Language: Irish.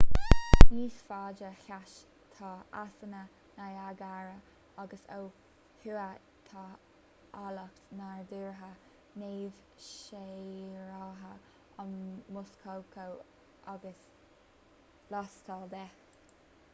níos faide theas tá easanna niagara agus ó thuaidh tá áilleacht nádúrtha neamhshaothraithe an muskoka agus lastall de